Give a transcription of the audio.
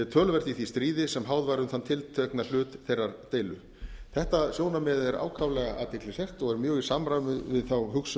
töluvert í því stríði sem háð var um þann tiltekna hlut þeirrar deilu þetta sjónarmið er ákaflega athyglisvert og er mjög í samræmi við þá hugsun